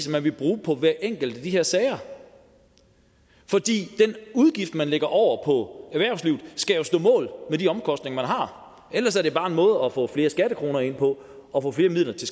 vil bruge på hver enkelt af de her sager for den udgift man lægger over på erhvervslivet skal jo stå mål med de omkostninger man har ellers er det bare en måde at få flere skattekroner ind på og få flere midler til